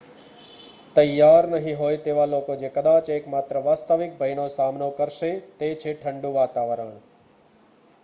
તૈયાર નહીં હોય તેવા લોકો જે કદાચ એકમાત્ર વાસ્તવિક ભયનો સામનો કરશે તે છે ઠંડું વાતાવરણ